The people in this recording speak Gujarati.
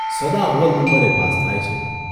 સદા અવ્વલ નંબરે પાસ થાય છે.